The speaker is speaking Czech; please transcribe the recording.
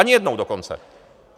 Ani jednou dokonce.